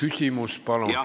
Küsimus palun!